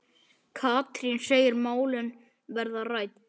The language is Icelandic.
Katrín segir málin verða rædd.